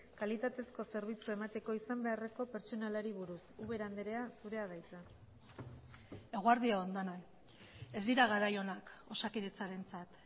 kalitatezko zerbitzua emateko izan beharreko pertsonalari buruz ubera andrea zurea da hitza eguerdi on denoi ez dira garai onak osakidetzarentzat